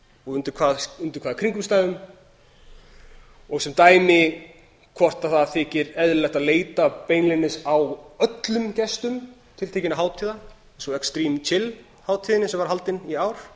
og undir hvaða kringumstæðum sem dæmi hvort það þykir eðlilegt að leita beinlínis á öllum gestum tiltekinna hátíða eins og extreme chill hátíðinni sem var haldin í ár